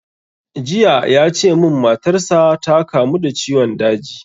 Jiya ya ce mun matar sa ta kamu da ciwon daji